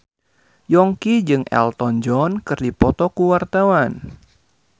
Yongki jeung Elton John keur dipoto ku wartawan